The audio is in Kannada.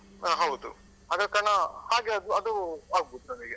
ಹ ಹೌದು ಆದ ಕಾರ್ಣ ಹಾಗೆ ಅದು ಆಗ್ಬೋದು ನಮಿಗೆ.